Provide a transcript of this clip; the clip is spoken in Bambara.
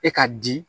E ka di